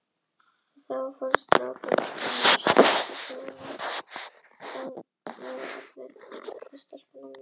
Hinir nýju hluthafar fá þá ekki ávallt sama rétt og þeir eldri.